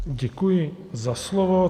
Děkuji za slovo.